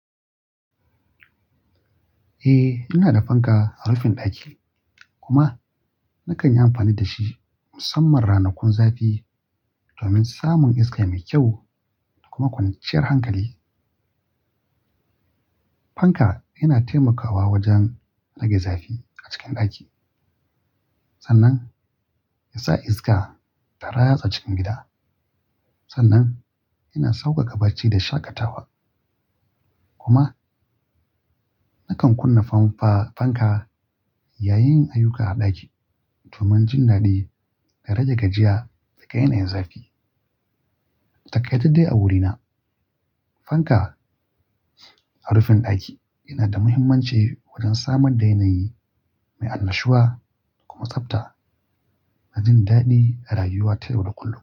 Eh, ina da fanka a rufin ɗaki kuma nakan yi amfani da shi musamman ranakun zafi domin samun iska mai kyau da kuma kwanciyar hankali. Fanka yana taimakawa wajen rage zafi a cikin ɗaki sannan ya sa iska ta ratsa cikin gida. Sannan yana sauƙaƙa barci da shaƙatawa. Kuma nakan kunna famfa fanka yayin yin ayyuka a ɗaki domin jin daɗi da rage gajiya da ga yanayin zafi. Dakai da dai a wurina, fanka a rufin ɗaki yana da muhimmanci wajen samar da yanayi mai annashuwa kuma tsabta, dajin daɗi a rayuwa ta yau da kullum.